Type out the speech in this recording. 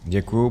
Děkuji.